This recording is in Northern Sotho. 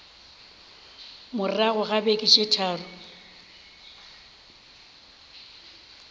morago ga beke tše tharo